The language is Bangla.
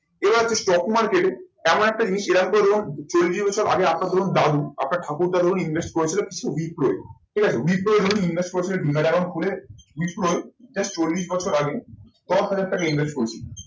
আবার কি stock market এ এমন একটা জিনিস আমি আপনার ধরুন দাদু আপনার ঠাকুর দাদু invest করেছিলেন কিছু ঠিক আছে ধরুন invest করেছিলেন demat account খুলে just চল্লিশ বছর আগে দশ হাজার টাকা invest করেছিলন।